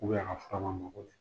a ka fura man mago ɲɛ.